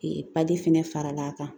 fɛnɛ faral'a kan